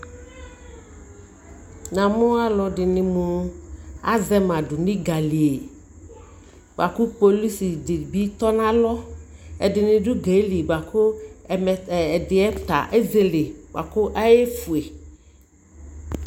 namʋ alʋɛdini mʋ azɛ ma dʋnʋ gali bʋakʋ polisi di bi tɔnʋ alɔ, ɛdini.dʋ.gali bʋakʋ ɛm ɛmɛ ta ɛzɛlɛ bʋakʋ ɔyɛ ƒʋɛ.